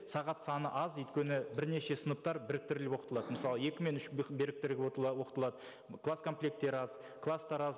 сағат саны аз өйткені бірнеше сыныптар біріктіріліп оқытылады мысалы екі мен үш оқытылады класс комплекттері аз класстар аз